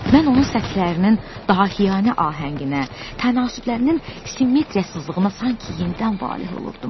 Mən onun səthlərinin daha hiyanə ahənginə, tənasıblərinin simmetriyasızlığına sanki yenidən valeh olurdum.